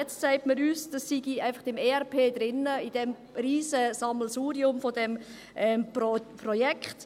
Jetzt sagt man uns, dass dies einfach im ERP drin sei, in diesem Riesen-Sammelsurium dieses Projekts.